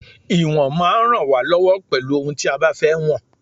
Ìwọ̀n máa ń rán wa lọwọ pelu òhun tí a bá fẹ́ wọn